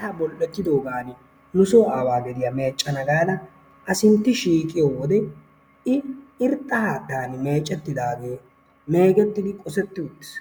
Haattaa bol"ettidoogan nu soo aawaa gediyaa meccana gaada asintti shiiqiyoo wode i irxxa haattaan meecettidaagee meegettidi qosseti uttiis.